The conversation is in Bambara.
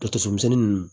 Ka to so misɛnnin nunnu